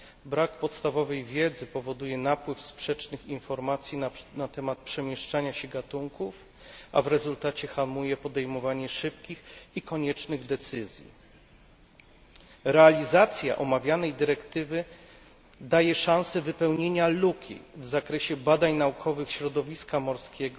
Brak podstawowej wiedzy powoduje napływ sprzecznych informacji na temat przemieszczania się gatunków, a w rezultacie hamuje podejmowanie szybkich i koniecznych decyzji. Realizacja omawianej dyrektywy daje szansę wypełnienia luki w zakresie badań naukowych środowiska morskiego,